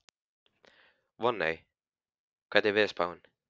Voney, hvernig er veðurspáin?